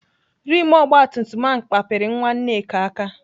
Rimụ ogbatumtum ahụ kpapịrị nwa Nneka aka.